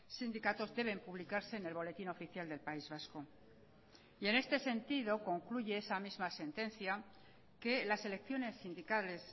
sindicatos deben publicarse en el boletín oficial del país vasco y en este sentido concluye esa misma sentencia que las elecciones sindicales